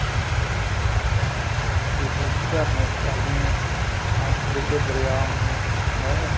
ਮਤਲਬ ਉੱਧਰ ਝਰਨੇ ਚੱਲਦੇ ਆ ਕਿੱਡੇ ਕਿੱਡੇ ਦਰਿਆ ਆਉਂਦੇ ਆ ਨਹਿਰਾਂ